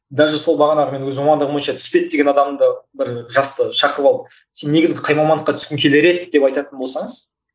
даже сол бағанағы мен өзім мамандығым бойынша түспейді деген адамды бір жасты шақырып алып сен негізі қай мамандыққа түскің келер еді деп айтатын болсаңыз